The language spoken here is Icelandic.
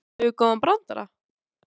Kanntu góðan brandara?